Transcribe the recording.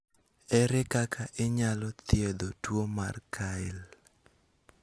erer kaka inyal thiedhi tuo mar Kyrle?